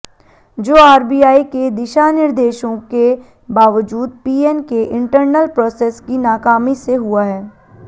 जो आरबीआई के दिशानिर्देशों के बावजूद पीएन के इंटरनल प्रोसेस की नाकामी से हुआ है